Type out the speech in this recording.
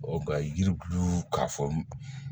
nka yiribulu k'a fɔ